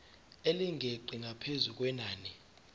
elingeqi ngaphezu kwenani